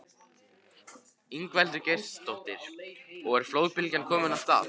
Ingveldur Geirsdóttir: Og er flóðbylgjan komin af stað?